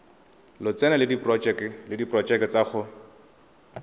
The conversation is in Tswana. lotseno le diporojeke tsa go